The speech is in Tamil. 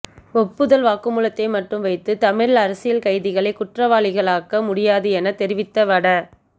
ஒப்புதல் வாக்குமூலத்தை மட்டும் வைத்து தமிழ் அரசியல் கைதிகளை குற்றவாளிகளாக்க முடியாது என தெரிவித்த வட